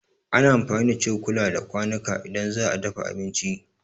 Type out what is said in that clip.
Ana amfani da cokula da kwanuka idan za'a dafa abinci